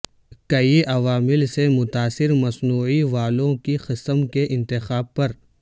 کئی عوامل سے متاثر مصنوعی والو کی قسم کے انتخاب پر